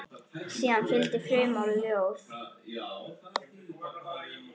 Síðan fylgdi frumort ljóð.